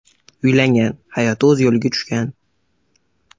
Uylangan, hayoti o‘z yo‘liga tushgan.